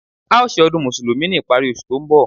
A ó ṣe ọdún Mùsùlùmí ní ìparí oṣù tó ń bọ̀